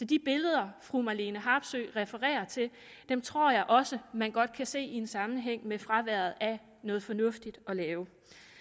de billeder fru marlene harpsøe refererer til tror jeg også man godt kan se en sammenhæng med fraværet af noget fornuftigt at lave